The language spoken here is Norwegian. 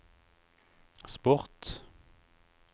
sport